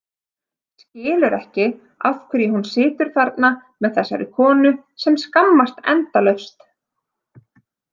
Skilur ekki af hverju hún situr þarna með þessari konu sem skammast endalaust.